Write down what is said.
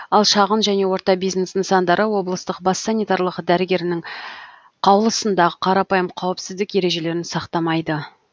ал шағын және орта бизнес нысандары облыстық бас санитарлық дәрігерінің қаулысында қарапайым қауіпсіздік ережелерін сақтамайды